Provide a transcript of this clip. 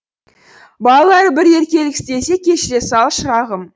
балалары бір еркелік істесе кешіре сал шырағым